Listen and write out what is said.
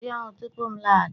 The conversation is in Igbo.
Hun ji ahụ tupu m laghachi!